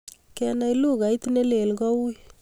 kenai lugait ne lel ko ui